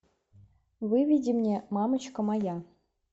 выведи мне мамочка моя